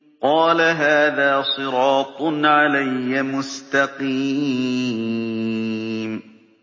قَالَ هَٰذَا صِرَاطٌ عَلَيَّ مُسْتَقِيمٌ